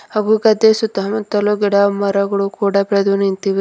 ಹಾಗು ಗದೆ ಸುತ್ತ ಮುತ್ತಲು ಗಿಡ ಮರಗಳು ಕೂಡ ಬೆಳೆದು ನಿಂತಿವೆ.